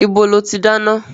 Ibo lo ti dáná?